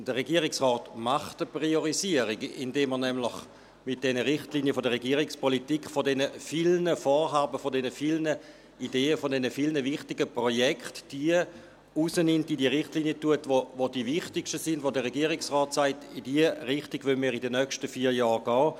Der Regierungsrat eine Priorisierung, indem er nämlich mit diesen Richtlinien der Regierungspolitik von diesen vielen Vorhaben, von diesen vielen Ideen, von diesen vielen wichtigen Projekten, diejenigen herausnimmt und in die Richtlinien aufnimmt, die am wichtigsten sind, bei denen der Regierungsrat sagt: «In diese Richtung wollen wir in den nächsten vier Jahren gehen.